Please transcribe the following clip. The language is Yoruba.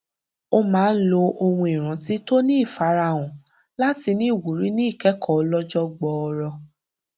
ó máa ń lo ohun ìrántí tó ń fara hàn láti ní ìwúrí ní ìkẹkọọ ọlọjọ gbọọrọ